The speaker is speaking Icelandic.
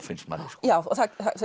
finnst manni já það